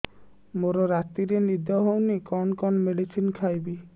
ମୋର ରାତିରେ ନିଦ ହଉନି କଣ କଣ ମେଡିସିନ ଖାଇବି